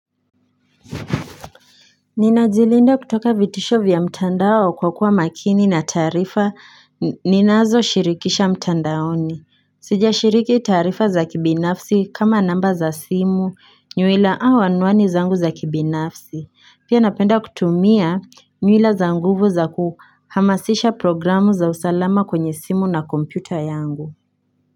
Ninajilinda kutoka vitisho vya mtandao kwa kuwa makini na taarifa ninazoshirikisha mtandaoni Sijashiriki taarifa za kibinafsi kama namba za simu, nywila au anwani zangu za kibinafs. Pia napenda kutumia nywila za nguvu za kuhamasisha programu za usalama kwenye simu na kompyuta yangu.